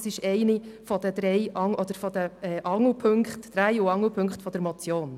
Es ist einer der drei Angelpunkte dieser Motion.